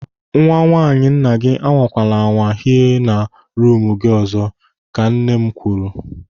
"Nwa nwaanyị nna gị anwakwala anwa hie na ruumu gị ọzọ" ka nne m kwuru.